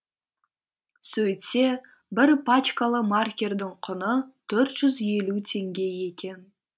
сөйтсе бір пачкалы маркердің құны төрт жүз елу теңге екен